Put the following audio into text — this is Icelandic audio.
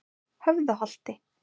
Höfðaholti